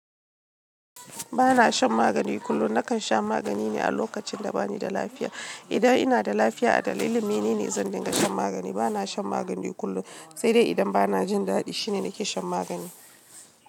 Ba na shan magani kullum. Nakan sha magani ne a lokacin da ba ni da lafiya. Idan ina da lafiya a dalili, ni ne zan dinga shan magani. Ba na shan magani kullum. Sai dai idan ba na jin daɗi, shine nake shan magani.